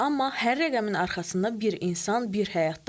Amma hər rəqəmin arxasında bir insan, bir həyat dayanır.